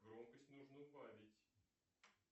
громкость нужно убавить